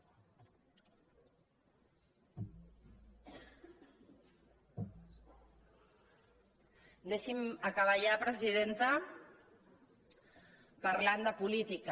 deixi’m acabar ja presidenta parlant de política